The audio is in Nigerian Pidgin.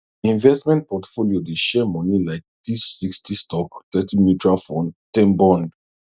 investment portfolio dey share money like this sixty stock thirty mutual fund ten bond